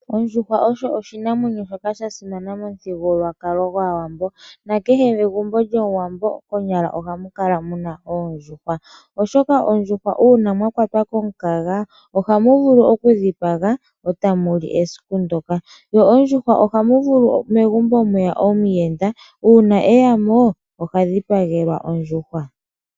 Ondjuhwa osho oshinamwenyo shoka sha simana momuthigululwakalo gwAwambo nakehe megumbo lyOmuwambo konyala ohamu kala mu na oondjuhwa. Oshoka oondjuhwa uuna mwa kwatwa komukaga ohamu vulu okudhipaga e ta mu li esiku ndyoka. Ondjuhwa ohamu vulu megumbo mweya omuyenda ,uuna e ya mo oha dhipagelwa ondjuhwa.